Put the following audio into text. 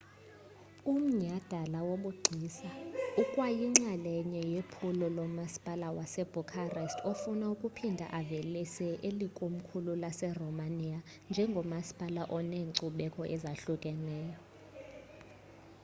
umnyhadala wobugcisa ukwayinxalenye yephulo lomasipala wasbucharest ofuna ukuphinda avelise eli komkhulu laseromania njengomasipala oneenkcubeko ezahlukahlukeneyo